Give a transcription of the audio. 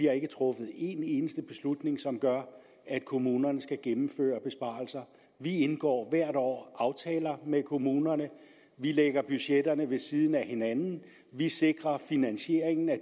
har truffet en eneste beslutning som gør at kommunerne skal gennemføre besparelser vi indgår hvert år aftaler med kommunerne vi lægger budgetterne ved siden af hinanden vi sikrer finansieringen af